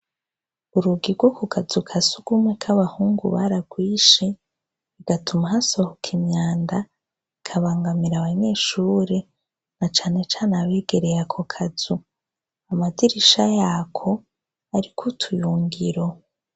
Urugi rwo ku kazu ka sugumwe k'abahungu baragwishe, bigatuma hasohoka imyanda ikabangamira abanyeshure na canecane abegereye ako kazu, amadirisha yako ariko utuyungiro.